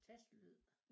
Tastelyd